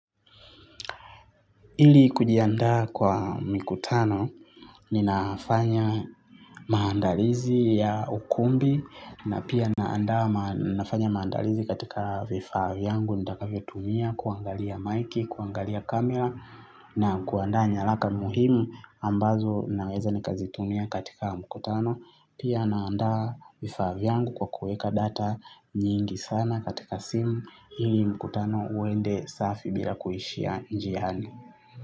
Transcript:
Ili kujiandaa kwa mikutano ninafanya maandalizi ya ukumbi na pia nafanya maandalizi katika vifaa vyangu nitakavyo tumia kuangalia maiki, kuangalia kamera na kuandaa nyalaka muhimu ambazo naweza nikazitumia katika mkutano. Pia naanda vifaa vyangu kwa kuweka data nyingi sana katika simu ili mkutano uende safi bila kuishia njiani.